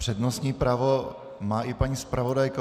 Přednostní právo má i paní zpravodajka.